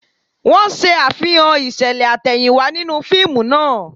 Wọ́n ṣe Àfihàn ìṣẹ̀lẹ̀ àtẹ̀yìnwá nínú fíìmù náà